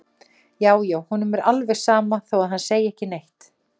Já, já, honum er alveg sama þó að hann segi ekki neitt!